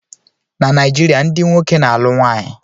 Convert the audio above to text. Na Naijiria, ndị nwoke na-alụ nwanyị.